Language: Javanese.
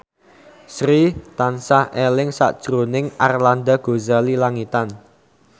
Sri tansah eling sakjroning Arlanda Ghazali Langitan